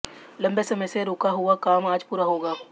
लंबे समय से रूका हुआ काम आज पूरा होगा